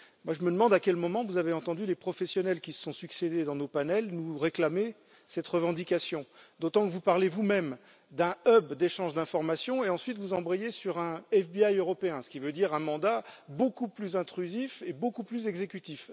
Je me demande à quel moment vous avez entendu les professionnels qui se sont succédé dans nos panels avancer cette revendication, d'autant que vous parlez vous même d'un hub d'échange d'informations et ensuite vous embrayez sur un FBI européen, ce qui veut dire un mandat beaucoup plus intrusif et beaucoup plus exécutif.